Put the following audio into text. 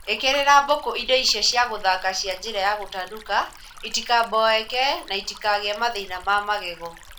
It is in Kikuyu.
Ĩkĩrĩra mbũkũ indo cia gũthaka cia njĩra ya gũtanuka itikaboeke na itikagĩe mathĩna ma magego